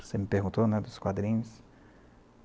Você me perguntou, né dos quadrinhos.